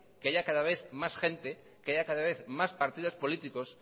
que haya cada vez más gente que haya cada vez más partidos políticos